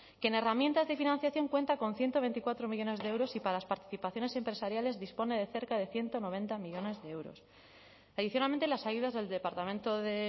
que en herramientas de financiación cuenta con ciento veinticuatro millónes de euros y para las participaciones empresariales dispone de cerca de ciento noventa millónes de euros adicionalmente las ayudas del departamento de